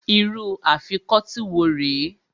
Irú Afikọ́tí wo rè é?